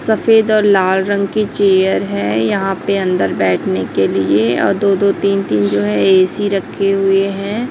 सफेद और लाल रंग की चेयर है यहां पे अंदर बैठने के लिए और दो दो तीन तीन जो है ए_सी रखे हुए हैं।